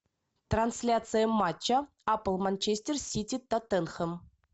трансляция матча апл манчестер сити тоттенхэм